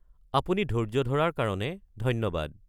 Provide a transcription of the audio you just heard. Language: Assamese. আপুনি ধৈৰ্য্য ধৰাৰ কাৰণে ধন্যবাদ।